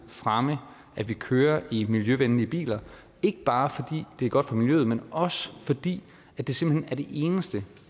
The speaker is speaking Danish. fremme at vi kører i miljøvenlige biler ikke bare fordi det er godt for miljøet men også fordi det simpelt hen er det eneste